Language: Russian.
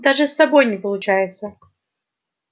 даже с собой не получается